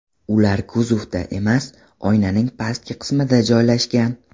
ular kuzovda emas, oynaning pastki qismida joylashgan.